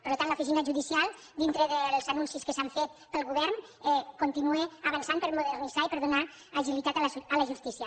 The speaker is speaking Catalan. per tant l’oficina judicial dintre dels anuncis que s’han fet pel govern continua avançant per a modernitzar i per a donar agilitat a la justícia